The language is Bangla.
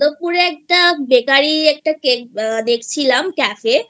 যাদবপুর এ একটা Bakery Cakeদেখছিলাম Cafeহ্যাঁ